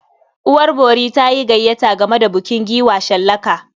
Uwar bori ta yi gayyata gama da bukin giwa shallaka.